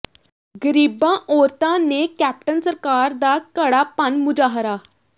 ਗਰੀਬਾਂ ਔਰਤਾਂ ਨੇ ਕੈਪਟਨ ਸਰਕਾਰ ਦਾ ਘੜਾ ਭੰਨ ਮੁਜ਼ਾਹਰਾ